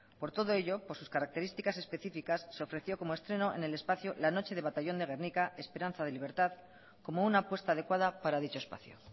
por todo ello por sus características específicas se ofreció como estreno en el espacio la noche de batallón de gernika esperanza de libertad como una apuesta adecuada para dicho espacio